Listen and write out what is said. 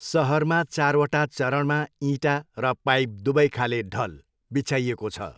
सहरमा चारवटा चरणमा इँटा र पाइप दुबैखाले ढल बिछ्याइएको छ।